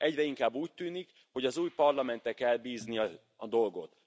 Egyre inkább úgy tűnik, hogy az új Parlamentre kell bízni a dolgot.